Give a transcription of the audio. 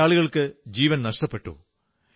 വളരെയേറെയാളുകൾക്ക് ജീവൻ നഷ്ടപ്പെട്ടു